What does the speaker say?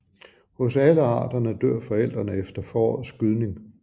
Hos alle arterne dør forældrene efter forårets gydning